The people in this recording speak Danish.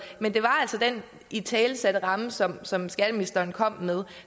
men det var altså den italesatte ramme som som skatteministeren kom med